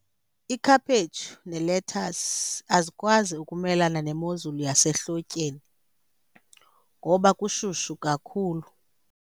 Ikhaphetshu nelethasi azikwazi ukumelana nemozulu yasehlotyeni ngoba kushushu kakhulu.